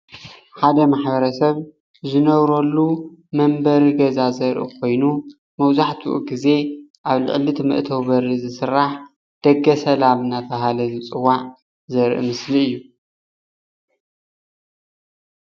ሓደ ማሕበረ ሰብ ዝነብረሉ መንበሪ ገዛ ዘርኢ ኮይኑ መብዛሕትኡ ግዜ ኣብቲ ልዕሊእቲ መእተዊ በሪ ዝስራሕ ደገሰላም እናተባሃለ ዝፅዋ ዘርኢ ምስሊ እዩ፡፡